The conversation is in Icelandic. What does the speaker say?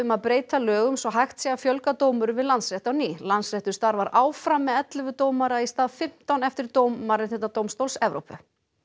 að breyta lögum svo hægt sé að fjölga dómurum við Landsrétt á ný Landsréttur starfar áfram með ellefu dómara í stað fimmtán eftir dóm Mannréttindadómstóls Evrópu